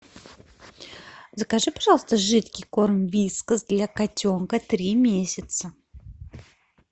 закажи пожалуйста жидкий корм вискас для котенка три месяца